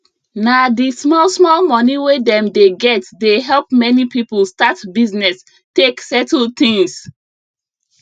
na d small small money wey dem dey get dey help many people start business take settle things